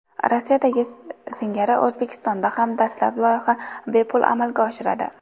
Rossiyadagi singari O‘zbekistonda ham dastlab loyiha bepul amalga oshiradi.